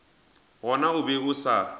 gona o be a sa